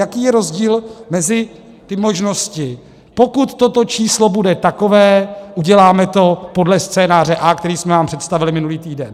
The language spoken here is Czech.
Jaký je rozdíl mezi těmi možnostmi: pokud toto číslo bude takové, uděláme to podle scénáře A, který jsme vám představili minulý týden.